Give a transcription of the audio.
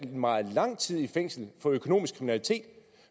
meget lang tid i fængsel for økonomisk kriminalitet